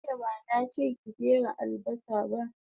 Jiya bana che ki fere albasa ba